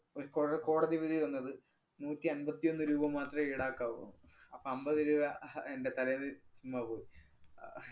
ഒരു കോഴ കോടതി വിധി വന്നത് നൂറ്റിയമ്പത്തിയൊന്നു രൂപ മാത്രമേ ഈടാക്കാവൂന്ന്. അപ്പ അമ്പത് രൂപ അഹ് എന്‍റെ തലേന്ന് ചുമ്മാ പോയി. ഏർ